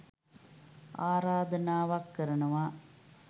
ආරාධනාවක් කරනවා.